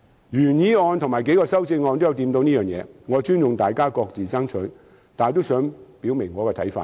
原議案和數項修正案也有觸及此事，我尊重大家各自爭取，但也想表明自己的看法。